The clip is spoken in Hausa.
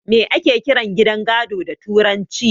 Me ake kiran gidan gado da turanci?